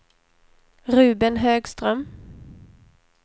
Ruben Högström